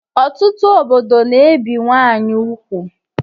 Ọtụtụ obodo na-ebe nwanyị ugwu